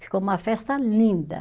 Ficou uma festa linda.